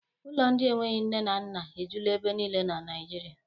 Ụlọ ndị enweghị nne na nna ejula ebe niile na Naịjirịa.